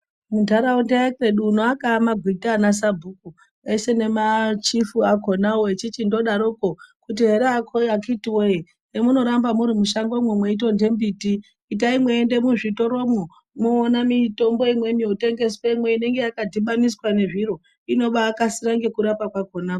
Muntaraunda ekwedu uno akava magwita ana sabhuku eshe nemachifu akonavo. Echichindodaroko kuti ere akhiti voye zvemunoramba muri mushangomo meitorye mbiti. Itai mweiende nemuzvitoromwo moona mitombo imweni imotengeswemwo inonga yakadhibaniswa ngezviro inobakasira ngekurapa kwakona.